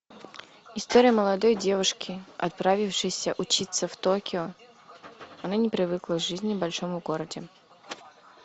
история молодой девушки отправившейся учиться в токио она не привыкла к жизни в большом городе